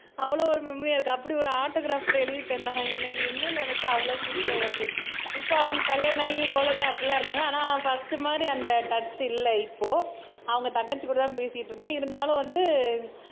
அவ்ளோ ஒரு மெமரி அப்படி ஒரு ஆட்டோகிராப்ல எழுதி தந்தான் எனக்கு இன்னும் நெனச்சா அவ்ளோ சிரிப்பா வருது இப்ப அவன் கல்யாணம் ஆகி குழந்தை அப்படி எல்லாம் இருக்காங்க ஆனா ஃபர்ஸ்ட் மாதிரி அந்த டச் இல்ல இப்போ அவங்க தங்கச்சி கூட தான் பேசிட்டு இருக்கேன் இருந்தாலும் வந்து